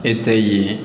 E ta ye